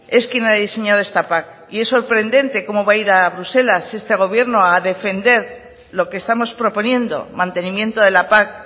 es quien ha de diseñado esta pac y es sorprendente cómo va a ir a bruselas este gobierno a defender lo que estamos proponiendo mantenimiento de la pac